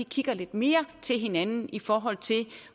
kigger lidt mere til hinanden i forhold til